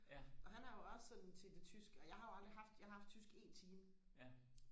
og han er jo også sådan til det tyske og jeg har jo aldrig haft jeg har haft tysk en time